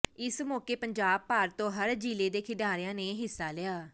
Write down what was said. ਇਸ ਮੌਕੇ ਪੰਜਾਬ ਭਰ ਤੋਂ ਹਰ ਜ਼ਿਲ੍ਹੇ ਦੇ ਖਿਡਾਰੀਆਂ ਨੇ ਹਿੱਸਾ ਲਿਆ